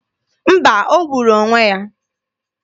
Mba, o gburu onwe ya.